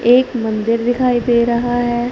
एक मंदिर दिखाई दे रहा है।